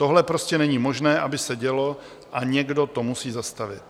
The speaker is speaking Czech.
Tohle prostě není možné, aby se dělo, a někdo to musí zastavit.